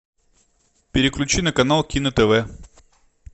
переключи на канал кино тв